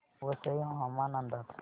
वसई हवामान अंदाज